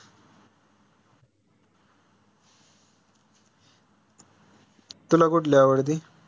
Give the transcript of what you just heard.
तुला अकुठली आवडती?